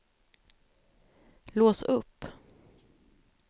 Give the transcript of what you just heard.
lås upp